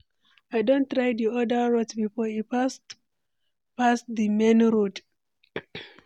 I don try di other route before, e fast pass di main road.